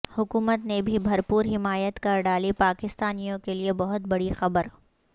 حکومت نے بھی بھرپور حمایت کر ڈالی پاکستانیوں کےلئے بہت بڑی خبر